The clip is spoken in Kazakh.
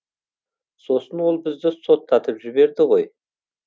сосын ол бізді соттатып жіберді ғой